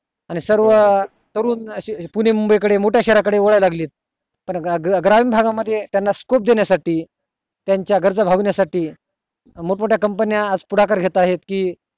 आणि सर्व करून पुणे मंबई कडे वाळू लागले मोठ्या शहारा कडे वाळू लागलेत आणि ग्रामीण भागा मध्ये त्याना scope देण्या साठी त्याच्या घरच भागण्या साठी मोठं मोठ्या company आज पुढाकार घेत आहेत कि